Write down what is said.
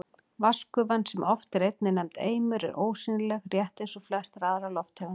Vatnsgufan, sem oft er einnig nefnd eimur, er ósýnileg, rétt eins og flestar aðrar lofttegundir.